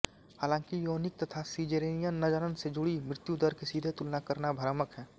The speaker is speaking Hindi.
हालांकि योनिक तथा सीज़ेरियन जनन से जुड़ी मृत्युदर की सीधे तुलना करना भ्रामक है